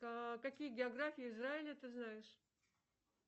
какие географии израиля ты знаешь